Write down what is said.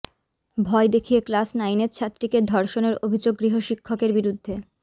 ভয় দেখিয়ে ক্লাস নাইনের ছাত্রীকে ধর্ষণের অভিযোগ গৃহশিক্ষকের বিরুদ্ধে